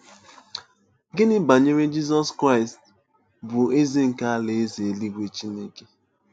Gịnị banyere Jizọs Kraịst, bụ́ Eze nke Alaeze eluigwe Chineke?